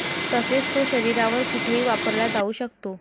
तसेच तो शरीरावर कुठेही वापरला जाऊ शकतो.